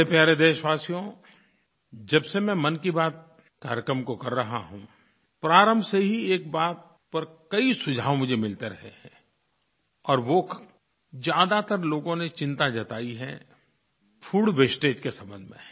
मेरे प्यारे देशवासियो जब से मैं मन की बात कार्यक्रम को कर रहा हूँ प्रारंभ से ही एक बात पर कई सुझाव मुझे मिलते रहे हैं और वो ज़्यादातर लोगों ने चिंता जताई है फूड वास्टेज के संबंध में